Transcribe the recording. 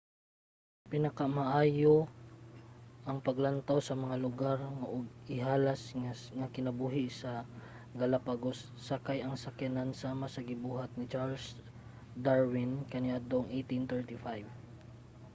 pinakamaayo ang paglantaw sa mga lugar ug ihalas nga kinabuhi sa galapagos sakay ang sakayan sama sa gibuhat ni charles darwin kaniadtong 1835